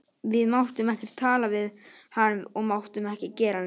Við máttum ekkert tala við hann og máttum ekki gera neitt.